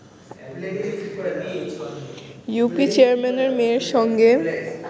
UP চেয়ারম্যানের মেয়ের সঙ্গে